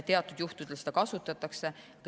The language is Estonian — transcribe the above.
Teatud juhtudel seda kasutatakse.